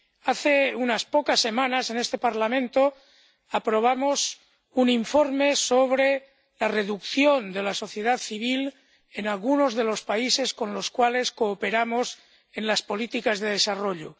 Hace unas pocas semanas, en este Parlamento aprobamos un informe sobre la reducción del espacio de la sociedad civil en algunos de los países con los cuales cooperamos en las políticas de desarrollo.